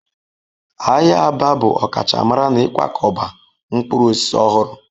Ahịa Aba bụ ọkachamara n'ịkwakọba mkpụrụ osisi ọhụrụ